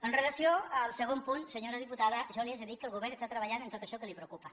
amb relació al segon punt senyora diputada jo li haig de dir que el govern està treballant en tot això que li preocupa